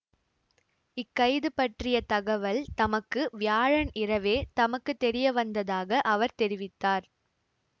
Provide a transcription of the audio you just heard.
இக்கைது பற்றிய தகவல் தமக்கு வியாழன் இரவே தமக்கு தெரியவந்ததாக அவர் தெரிவித்தார்